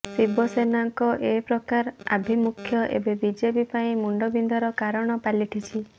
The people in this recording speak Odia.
ଶିବସେନାର ଏ ପ୍ରକାର ଆଭିମୁଖ୍ୟ ଏବେ ବିଜେପି ପାଇଁ ମୁଣ୍ଡବିନ୍ଧାର କାରଣ ପାଲଟିଛି